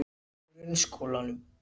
Grunnskólanum